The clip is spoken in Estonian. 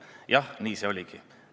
Jah, nii see oligi.